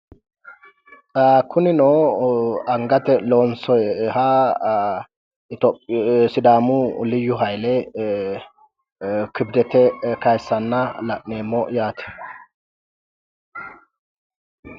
Kunino angate loonsoyiha sidaamu liyyu hayile kibdete kayissanna la'neemmo yaate.